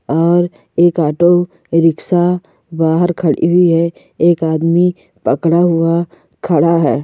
और एक ऑटो रिक्शा बाहर खडी हुई है एक आदमी पकडा हुआ खडा है।